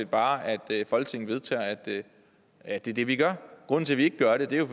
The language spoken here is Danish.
bare at folketinget vedtager at at det er det vi gør grunden til vi ikke gør det er